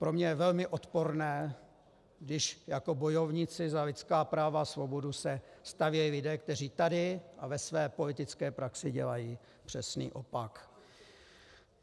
Pro mě je velmi odporné, když jako bojovníci za lidská práva a svobodu se stavějí lidé, kteří tady a ve své politické praxi dělají přesný opak.